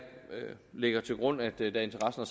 lægger til grund at da interessen